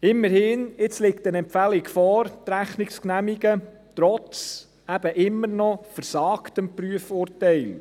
Immerhin: Jetzt liegt eine Empfehlung vor, die Rechnung zu genehmigen, trotz eben immer noch «versagtem» Prüfurteil.